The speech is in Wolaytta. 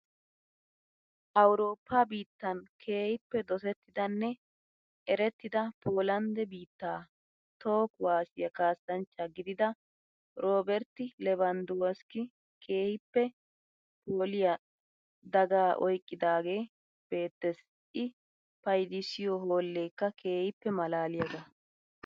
Awurooppa biittan keehippe dosettidanne erettida Poolandde biitta toho kuwaassiya kaassachchaa gidida Robert Levandwoski keehippe phooliya daagaa oyqqidaagee beettees. I payidissiyo hoolleekka keehippe malaaliyagaa.